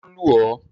Ṣé o lù ọ́?